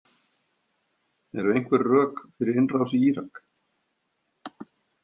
Eru einhver rök fyrir innrás í Írak?